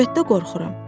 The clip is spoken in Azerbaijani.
Əlbəttə qorxuram.